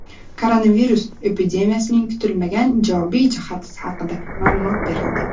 Koronavirus epidemiyasining kutilmagan ijobiy jihati haqida ma’lumot berildi.